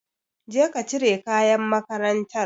Je ki cire kayan makarantar.